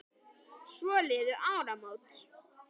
Svo liðu áramót.